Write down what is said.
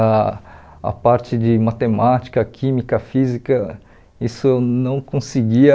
A a parte de matemática, química, física, isso eu não conseguia...